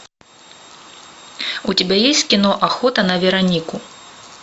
у тебя есть кино охота на веронику